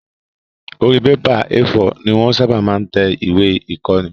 Orí bébà A4 ni wọ́n ṣábà máa ń tẹ ìwé ìkóni